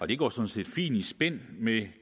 det går sådan set fint i spænd med